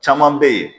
Caman bɛ yen